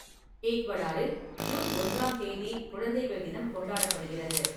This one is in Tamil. ஈக்வடாரில், ஜூன் ஒன்றாம் தேதி குழந்தைகள் தினம் கொண்டாடப்படுகிறது.